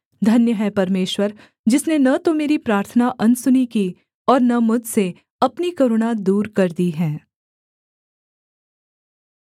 धन्य है परमेश्वर जिसने न तो मेरी प्रार्थना अनसुनी की और न मुझसे अपनी करुणा दूर कर दी है